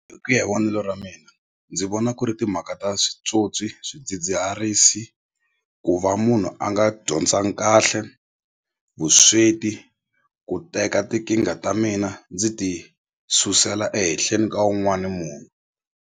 Hi ku ya hi vonelo ra mina ndzi vona ku ri timhaka ta switswotswi swidzidziharisi ku va munhu a nga dyondzangi kahle vusweti ku teka tinkingha ta mina ndzi ti susela ehenhleni ka wun'wani munhu.